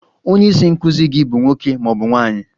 Onye isi nkụzi gị bụ nwoke ma ọ bụ nwanyị?